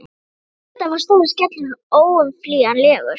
En auðvitað var stóri skellurinn óumflýjanlegur.